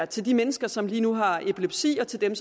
til de mennesker som lige nu har epilepsi og til dem